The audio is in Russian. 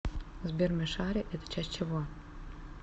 сбер мишари это часть чего